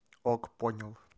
ок понял